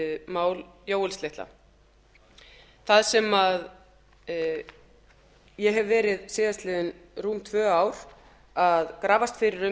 mál jóels litla þar sem ég hef verið síðastliðin rúm tvö ár að grafast fyrir um